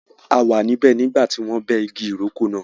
A wà níbẹ̀ nígbà tí wọ́n bẹ́ igi ìrókò náà.